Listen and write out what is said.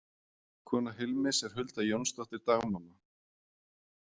Kona Hilmis er Hulda Jónsdóttir, dagmamma.